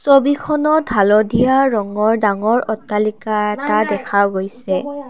ছবিখনত হালধীয়া ৰঙৰ ডাঙৰ অট্টালিকা এটা দেখা গৈছে।